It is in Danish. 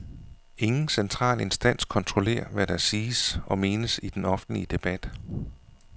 Ingen central instans kontrollerer, hvad der siges og menes i den offentlige debat.